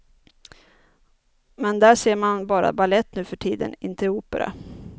Men där ser man bara balett nu för tiden, inte opera.